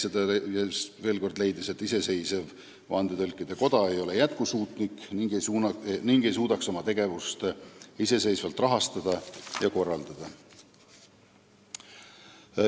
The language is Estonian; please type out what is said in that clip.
Ta leidis veel kord, et iseseisev vandetõlkide koda ei ole jätkusuutlik ega suudaks oma tegevust iseseisvalt rahastada ja korraldada.